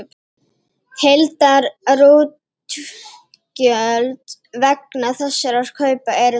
Heildarútgjöld vegna þessara kaupa eru því: